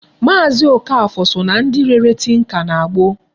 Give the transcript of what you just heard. Maazi Okafor so na ndị rere tinka na gboo.